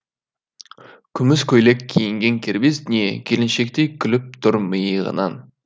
күміс көйлек киінген кербез дүние келіншектей күліп тұр миығынан